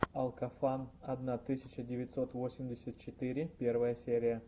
алкофан одна тысяча девятьсот восемьдесят четыре первая серия